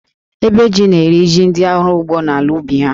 Ébè jí na-eri jí ndị ọrụ ugbo n’ala ubi ha